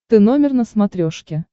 ты номер на смотрешке